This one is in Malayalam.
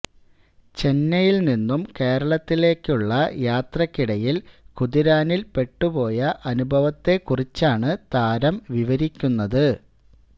ചെന്നൈയില് നിന്നും കേരളത്തിലേക്കുള്ള യാത്രയ്ക്കിടയില് കുതിരാനില് പെട്ടുപോയ അനുഭവത്തെക്കുറിച്ചാണ് താരം വിവരിക്കുന്നത്